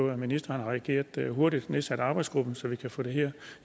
at ministeren har reageret hurtigt nedsat arbejdsgruppen så vi kan få det her